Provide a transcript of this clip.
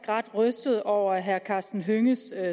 ret rystet over herre karsten hønges